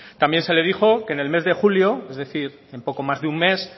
también se le dijo que en el mes de julio es decir en poco más de un mes